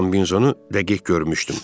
Kombinizonu dəqiq görmüşdüm.